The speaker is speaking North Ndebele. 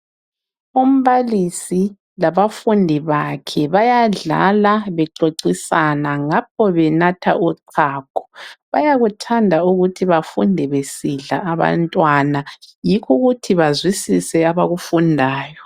Umbalisi labafundi bakhe bayadlala bexoxisana ngapho benatha uchago. Bayakuthanda ukuthi bafunde besidla abantwana, yikho ukuthi bazwisise abakufundayo.